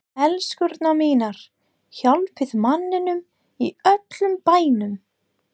ELSKURNAR MÍNAR, HJÁLPIÐ MANNINUM Í ÖLLUM BÆNUM!